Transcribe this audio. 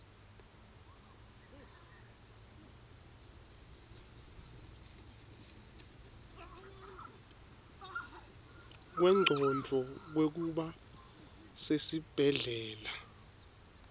kwengcondvo kwekuba sesibhedlela